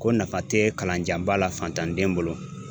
Ko nafa tɛ kalanjanba la fantanden bolo